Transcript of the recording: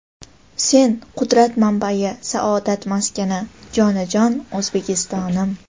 "Sen — qudrat manbai, saodat maskani, jonajon O‘zbekistonim!".